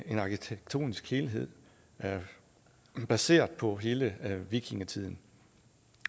en arkitektonisk helhed baseret på hele vikingetiden